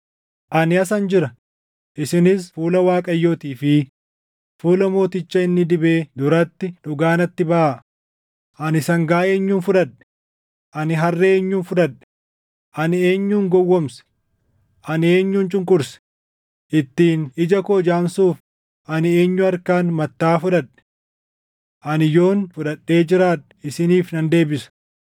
Ani asan jira; isinis fuula Waaqayyootii fi fuula mooticha inni dibee duratti dhugaa natti baʼaa. Ani sangaa eenyuun fudhadhe? Ani harree eenyuun fudhadhe? Ani eenyun gowwoomse? Ani eenyun cunqurse? Ittiin ija koo jaamsuuf ani eenyu harkaan mattaʼaa fudhadhe? Ani yoon fudhadhee jiraadhe isiniif nan deebisa.”